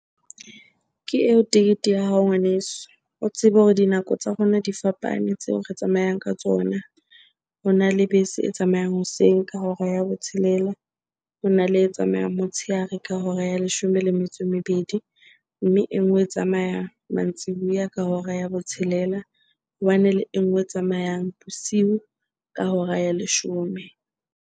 Ke eo tekete ya hao ngwaneso. O tsebe hore dinako tsa rona di fapane tseo re tsamayang ka tsona. Hona le bese e tsamayang hoseng ka hora ya botshelela, hona le e tsamayang motshehare ka hora ya leshome le metso e mebedi. Mme e nngwe e tsamaya mantsibuya ka hora ya botshelela, ho bane le e nngwe e tsamayang bosiu ka hora ya leshome.